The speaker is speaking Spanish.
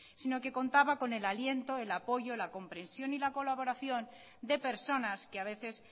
sino que contaba con el aliento el apoyo la comprensión y la colaboración de personas que a veces